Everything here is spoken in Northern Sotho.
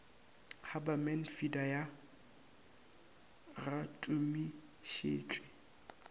haberman feeder ga ya tumišetšwe